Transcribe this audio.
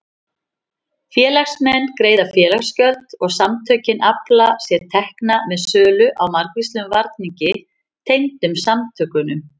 Félagsmenn greiða félagsgjöld og samtökin afla sér tekna með sölu á margvíslegum varningi tengdum samtökunum.